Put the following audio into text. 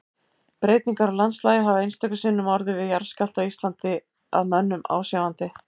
Breytingar á landslagi hafa einstöku sinnum orðið við jarðskjálfta á Íslandi að mönnum ásjáandi.